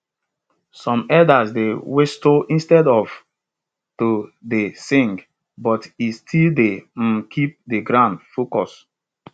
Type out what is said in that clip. some elders dey whistle instead of to to dey sing but it still dey um keep de group focused